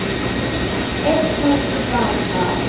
Eitt högg til baka.